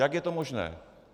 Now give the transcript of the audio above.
Jak je to možné?